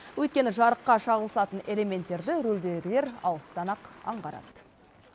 өйткені жарыққа шағылысатын элементтерді рөлдегілер алыстан ақ аңғарады